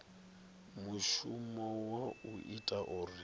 mushumo wa u ita uri